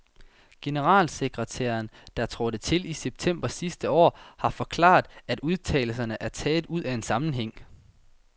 Generalsekretæren, der trådte til i september sidste år, har forklaret, at udtalelserne er taget ud af en sammenhæng.